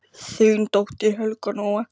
Þín dóttir, Helga Nóa.